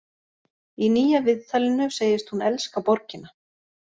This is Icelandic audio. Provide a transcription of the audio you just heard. Í nýja viðtalinu segist hún elska borgina.